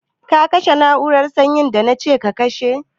Ka kashe na'urar sanyi da na ce ka kashe?